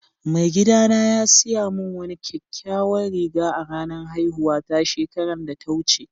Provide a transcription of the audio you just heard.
Mai gida na ya siya mun wani kyakkyawan riga a'ranan haihuwa ta shekaran da ta wuce.